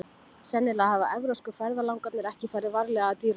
Sennilega hafa evrópsku ferðalangarnir ekki farið varlega að dýrunum.